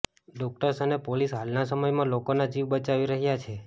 doctors અને police હાલના સમયમાં લોકોના જીવ બચાવી રહ્યા છે